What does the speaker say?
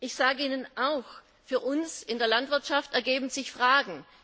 Ich sage Ihnen auch, für uns in der Landwirtschaft ergeben sich Fragen.